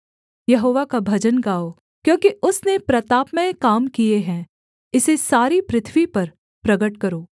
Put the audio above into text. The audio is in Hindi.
यहोवा का भजन गाओ क्योंकि उसने प्रतापमय काम किए हैं इसे सारी पृथ्वी पर प्रगट करो